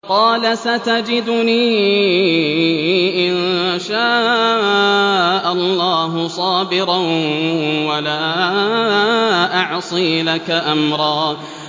قَالَ سَتَجِدُنِي إِن شَاءَ اللَّهُ صَابِرًا وَلَا أَعْصِي لَكَ أَمْرًا